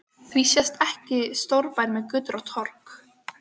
Því sést ekki stórbær með götur og torg?